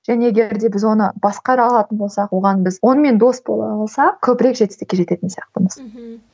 және егер де біз оны басқара алатын болсақ оған біз онымен дос бола алсақ көбірек жетістікке жететін сияқтымыз мхм